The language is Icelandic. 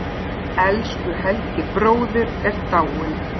Elsku Helgi bróðir er dáinn.